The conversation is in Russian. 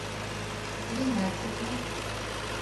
ринатике